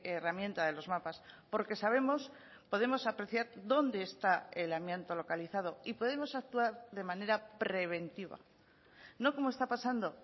herramienta de los mapas porque sabemos podemos apreciar dónde está el amianto localizado y podemos actuar de manera preventiva no como está pasando